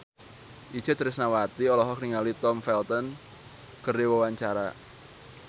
Itje Tresnawati olohok ningali Tom Felton keur diwawancara